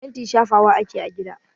Fenti shafawa ake a gida.